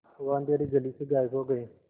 वह अँधेरी गली से गायब हो गए